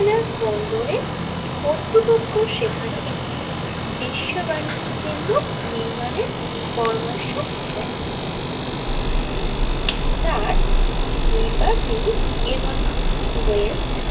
বন্দরে কর্তৃপক্ষ সেখানে একটি বিশ্ব বাণিজ্য কেন্দ্র নির্মাণে পরামর্শ দে যার লিবার্টি এবং ওয়েস্ট।